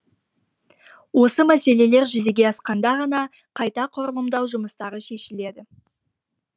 осы мәселелер жүзеге асқанда ғана қайта құрылымдау жұмыстары шешіледі